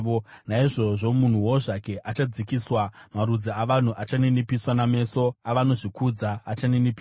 Naizvozvo munhuwo zvake achadzikiswa, marudzi avanhu achaninipiswa, nameso avanozvikudza achaninipiswa.